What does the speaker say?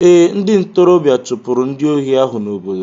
Ee, ndị ntorobịa chụpụrụ ndị ohi ahụ n'obodo.